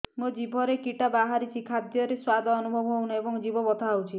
ମୋ ଜିଭରେ କିଟା ବାହାରିଛି ଖାଦ୍ଯୟରେ ସ୍ୱାଦ ଅନୁଭବ ହଉନାହିଁ ଏବଂ ଜିଭ ବଥା ହଉଛି